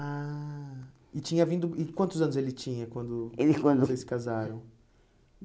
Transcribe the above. Ah... E tinha vindo... e Quantos anos ele tinha quando ele quando vocês casaram?